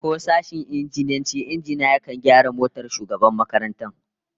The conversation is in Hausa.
Ko sashen injiniyancin injina yakan gyara motar shugaban makarantar?